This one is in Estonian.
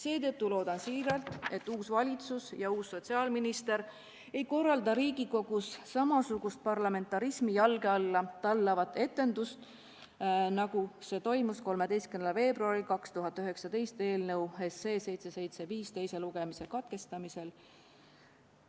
Seetõttu loodan siiralt, et uus valitsus ja uus sotsiaalminister ei korralda Riigikogus samasugust parlamentarismi jalge alla tallavat etendust, nagu toimus 13. veebruaril 2019, kui eelnõu 775 teine lugemine katkestati.